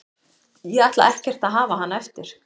Ég ætla ekkert að hafa hana eftir.